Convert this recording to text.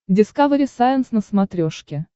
дискавери сайенс на смотрешке